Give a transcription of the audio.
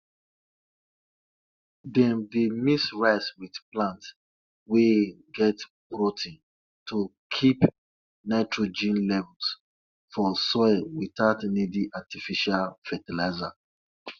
farmers dey sell cow skin give people wey sabi make leather so dat dem go use am make bag belt and drum